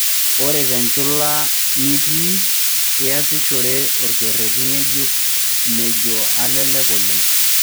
ore tenchula nitii iyasishore orkereti ng'ejuk mejo alalek oleng.